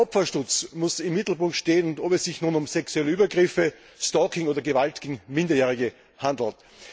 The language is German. Der Opferschutz muss im Mittelpunkt stehen, ob es sich nun um sexuelle Übergriffe, Stalking oder Gewalt gegen Minderjährige handelt.